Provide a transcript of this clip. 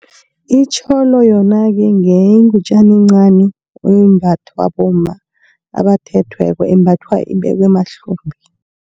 Itjholo yona-ke ngenye ingutjana encani, embathwa bomma abathethweko yembathwa ibekwe emahlombe.